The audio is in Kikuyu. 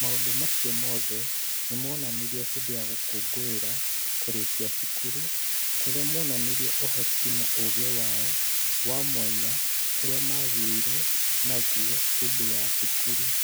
Maũndũ macio mothe nĩ monanirio hĩndĩ ya gũkũngũĩra kũrĩkia cukuru, kũrĩa monanirie ũhoti na ũũgĩ wao wa mwanya ũrĩa maagĩire naguo hĩndĩ ya cukuru.